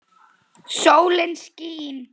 Sólin skín.